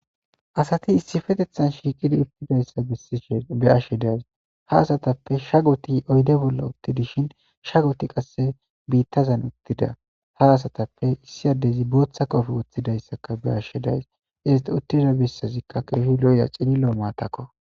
Asathi issipetheththan shiiqidi uththidayssa bessishe be7ashe de7ays;ha asathappe shagithi oyde bolla uththi dishin shagothi qassi biiththazan uththida;ha asathappe issi addezi booththa qofe woththidayssaka be7ashe de7ays;izethi uththida bessazikka keehi lo7iya cililo maathakoo.